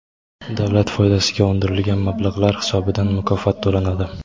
davlat foydasiga undirilgan mablag‘lar hisobidan mukofot to‘lanadi.